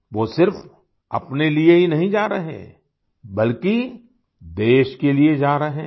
वो सिर्फ़ अपने लिए ही नहीं जा रहें बल्कि देश के लिए जा रहे हैं